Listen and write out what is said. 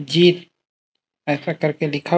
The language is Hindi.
जीत ऐसा करके दिखाओ--